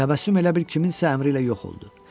Təbəssüm elə bil kiminsə əmri ilə yox oldu.